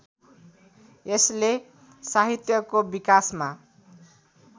यसले साहित्यको विकासमा